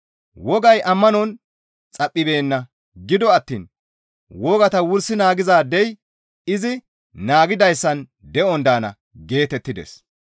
Wogay ammanon xaphibeenna; gido attiin, «Wogata wursi naagizaadey izi naagidayssan de7on daana» geetettides.